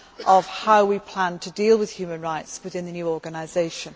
of how we plan to deal with human rights within the new organisation.